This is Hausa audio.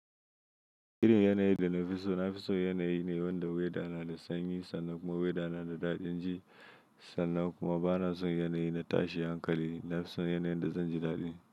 Irin yana yi da nafi so, nafi son yana yi ne wanda weta na da sanyi sannan kuma weta na da daɗi, jin sannan kuma ba na son yana yi na tashi hankali, nafi son yana yin da zan ji daɗi.